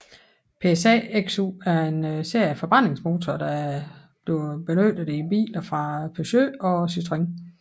PSA XU er en serie af forbrændingsmotorer benyttet i biler fra Peugeot og Citroën